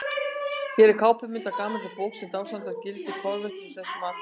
Hér er kápumynd af gamalli bók sem dásamar gildi kolvetnasnauðs mataræðis.